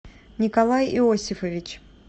николай иосифович